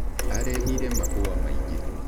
Arehire mahũa maingĩ.